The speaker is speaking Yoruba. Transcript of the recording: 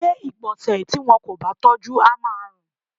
Ilé ìgbọ̀nsẹ̀ tí wọn kò bá tọ́jú á ma rùn.